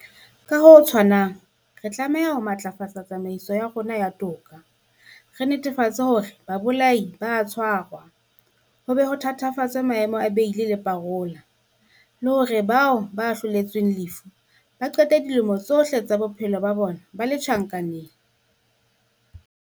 Ka ho tshwanang, re tlameha ho matlafatsa tsamaiso ya rona ya toka, re netefatse hore babolai ba a tshwarwa, ho be ho thatafatswe maemo a beili le parola, le hore bao ba ahloletsweng lefu ba qete dilemo tsohle tsa bophelo ba bona ba le tjhankaneng.